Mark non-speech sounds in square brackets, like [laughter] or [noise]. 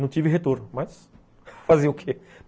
Não tive retorno, mas [laughs] fazer o quê?